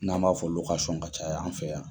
N'an b'a fɔ ka caya an fɛ yan.